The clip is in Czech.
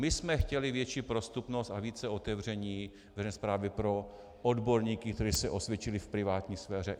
My jsme chtěli větší prostupnost a více otevření veřejné správy pro odborníky, kteří se osvědčili v privátní sféře.